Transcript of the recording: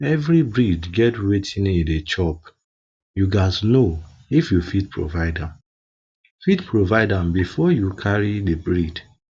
every breed get wetin e dey chopyou gats know if you fit provide am fit provide am before you carry the breed